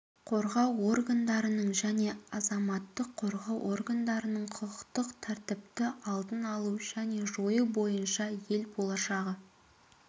қорғау органдарының және азаматтық қорғау органдарының құқықтық тәртіпті алдын алу және жою бойынша ел болашағы